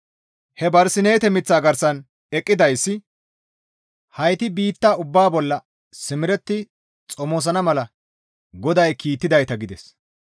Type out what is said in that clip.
He Barsineete miththa garsan eqqidayssi, «Hayti biitta ubbaa bolla simeretti xomosana mala GODAY kiittidayta» gides.